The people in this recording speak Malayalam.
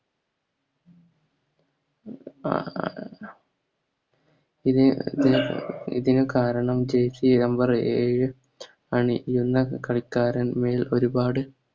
അഹ് ഇത് ഇതിനുകാരണം Jersey number ഏയ് എന്നകളിക്കാരൻ മേൽ ഒരുപാട്